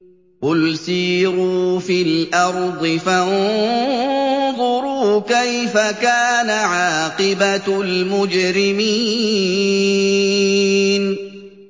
قُلْ سِيرُوا فِي الْأَرْضِ فَانظُرُوا كَيْفَ كَانَ عَاقِبَةُ الْمُجْرِمِينَ